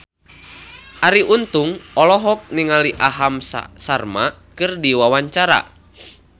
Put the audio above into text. Arie Untung olohok ningali Aham Sharma keur diwawancara